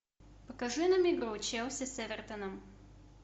покажи нам игру челси с эвертоном